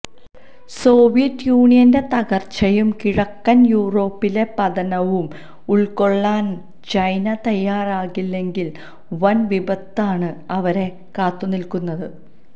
Soviet യൂണിയന്റെ തകര്ച്ചയും കിഴക്കന് യൂറോപ്പിലെ പതനവും ഉള്ക്കൊള്ളാന് ചൈന തയാറാകില്ലെങ്കില് വന് വിപത്താണ് അവരെ കാത്തുനില്ക്കുന്നത്